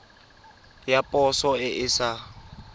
ya poso e e sa